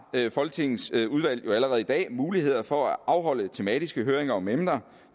folketingets udvalg jo allerede i dag muligheder for at afholde tematiske høringer om emner